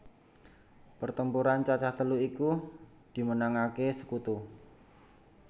Pertemuran cacah telu iki dimenangake sekutu